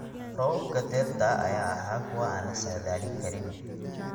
Roobabka dayrta ayaa ahaa kuwo aan la saadaalin karin.